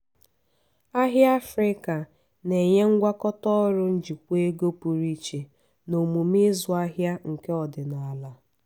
ahịa afrịka na-enye ngwakọta ọrụ njikwa ego pụrụ iche na omume ịzụ ahịa nke ọdịnala.